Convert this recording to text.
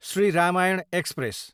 Shri Ramayan express